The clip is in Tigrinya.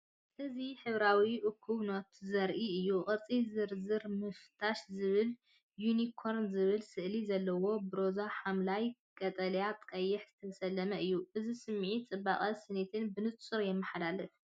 እዚ ሕብራዊ እኩብ ኖትታት ዘርኢ እዩ። ቅርጺ “ዝርዝር ምፍታሽ” ዝብልን “ዩኒኮርን” ዝብል ስእልታትን ዘለዎ። ብሮዛ፡ ሐምላይ፡ ቀጠልያን ቀይሕን ዝተሰለመ እዩ፡ እዚ ስምዒት ጽባቐን ስኒትን ብንጹር የመሓላልፍ።